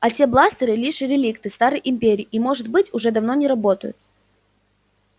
а те бластеры лишь реликты старой империи и может быть уже давно не работают